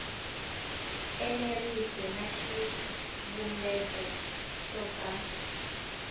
enerisi na xivumbeko xo ka